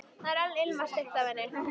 Það var enn ilmvatnslykt af henni.